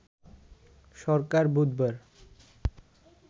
সরকার বুধবার